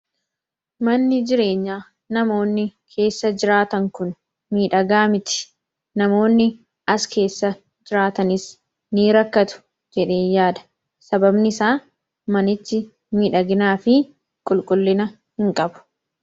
Manni jireenyaa namoonni keessa jiraatan Kun miidhagaa miti. Namoonni as keessa jiraatanis rakkatoodha. Sababni isaas manichi miidhaginaa fi qulqullina hin qabu.